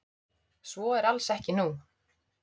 Svo er alls ekki nú.